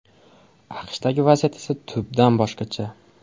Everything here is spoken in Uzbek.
AQShdagi vaziyat esa tubdan boshqacha.